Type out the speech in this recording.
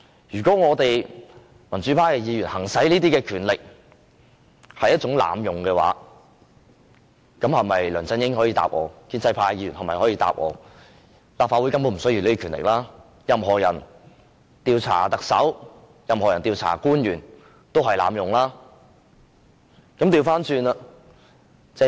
如果民主派的議員行使這些權力也屬濫用的話，梁振英及建制派的議員可否回答我，立法會是否根本不需要這種權力，因為任何人調查特首或官員都是濫用權力？